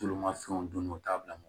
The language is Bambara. Tulu ma fɛnw don n'o taa bila mɔ